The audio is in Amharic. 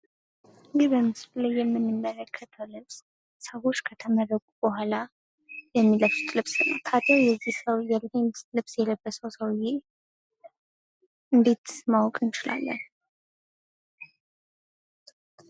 ይህ በምስሉ ላይ የምንመለከተው ልብስ ሰዎች ከተመረቁ በኋላ የሚለብሱት ልብስ ነው። ታዲያ የዚህ ሰውዬ ይህን ልብስ የለበሰው ሰውዬ እንዴት ማወቅ እንችላለን?